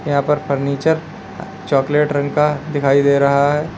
यहां पर furniture chocolate रंग का दिखाई दे रहा है।